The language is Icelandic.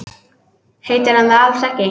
Heitir hann það alls ekki?